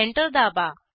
enter दाबा